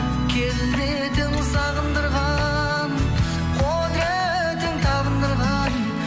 келбетің сағындырған құдыретің табындырған